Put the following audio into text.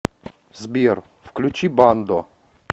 сбер включи бандо